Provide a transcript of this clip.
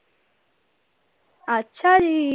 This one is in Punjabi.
ਅੱਛਾ ਜੀ।